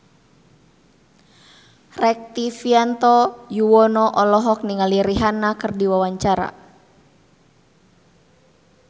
Rektivianto Yoewono olohok ningali Rihanna keur diwawancara